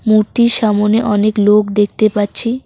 মূর্তির সামোনে অনেক লোক দেখতে পাচ্ছি।